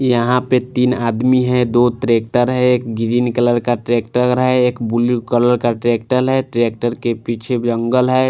यहां पे तीन आदमी है दो ट्रैक्टर है एक ग्रीन कलर का ट्रैक्टर हैं एक ब्लू कलर का ट्रैक्टर है ट्रैक्टर के पीछे जंगल हैं।